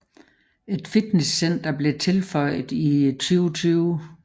Et fitnesscenter blev tilføjet i 2020